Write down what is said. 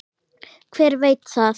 Hver veit það?